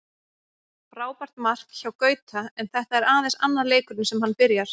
Frábært mark hjá Gauta, en þetta er aðeins annar leikurinn sem hann byrjar.